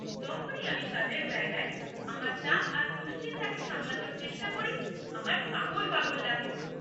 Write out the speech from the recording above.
যখনই আমি কাজের জায়গায় আমার চাপ আর দুশ্চিন্তাকে সামলানোর চেষ্টা করি আমার পাগল পাগল লাগে!